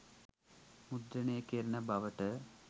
මුද්‍රණය කෙරෙන බවට